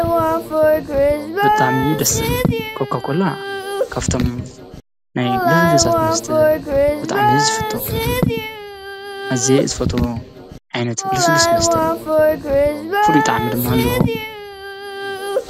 ብጣዕሚ ዩ ደስ ዝብል ኮካኮላ ካፍቶም ናይ ልስሉሳት መስተ ብጣዕሚ እዩ ዝፍቶ። ኣዝየ ዝፈትዎ ዓይነት ልስሉስ መስተ እዩ:: ፍሉይ ጣዕሚ ድማ ኣለዎ።